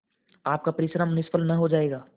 आपका परिश्रम निष्फल न जायगा